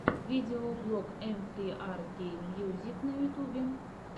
видеоблог эм фри ар кей мьюзик на ютьюбе